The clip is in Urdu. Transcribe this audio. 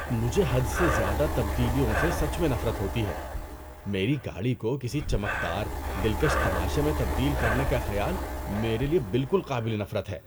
مجھے حد سے زیادہ تبدیلیوں سے سچ میں نفرت ہوتی ہے۔ میری گاڑی کو کسی چمکدار، دلکش تماشے میں تبدیل کرنے کا خیال میرے لیے بالکل قابل نفرت ہے۔